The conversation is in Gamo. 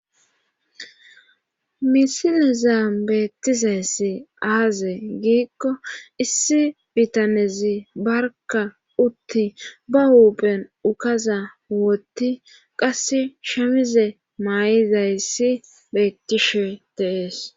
misileza beettizayssi aaze giikko issi bitanezi barka utti ba huuphen ukaza wotti qass shamize maay7izayssi beettishe teees